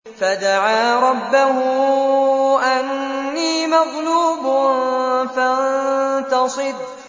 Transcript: فَدَعَا رَبَّهُ أَنِّي مَغْلُوبٌ فَانتَصِرْ